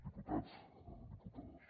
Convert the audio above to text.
diputats diputades